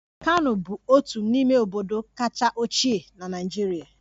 Kano bụ otu n'ime obodo kacha ochie na Naịjirịa